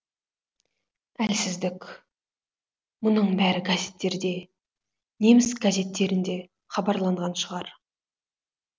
әлсіздік мұның бәрі газеттерде неміс газеттерінде хабарланған шығар